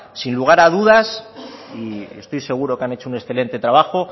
sin lugar a dudas y estoy seguro que han hecho un excelente trabajo